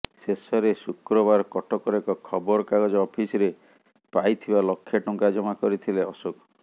ଶେଷରେ ଶୁକ୍ରବାର କଟକର ଏକ ଖବର କାଗଜ ଅଫିସରେ ପାଇଥିବା ଲକ୍ଷେ ଟଙ୍କା ଜମା କରିଥିଲେ ଅଶୋକ